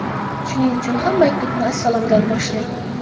Shuning uchun ham maktubni assalomdan boshlang.